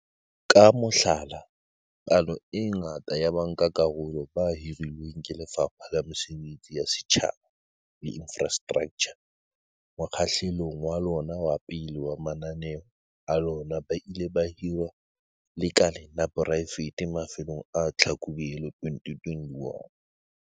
Ka mohlala, palo e ngata ya bankakarolo ba hirilweng ke Lefapha la Mesebetsi ya Setjhaba le Infrastraktjha mokgahlelong wa lona wa pele wa mananeo a lona ba ile ba hirwa lekaleng la poraefete mafelong a Tlhakubele 2021.